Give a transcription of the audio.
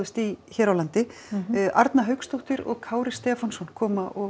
í hér á landi Arna Hauksdóttir og Kári Stefánsson koma og